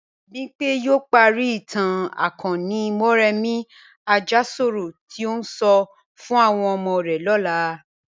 Bím̀bọ́ yóò parí ìtàn akọni Mọ́remí Àjàsorò tí ó ń sọ fún àwọn ọmọ rẹ̀ lọ́la